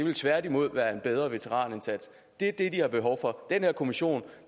er tværtimod en bedre veteranindsats den her kommission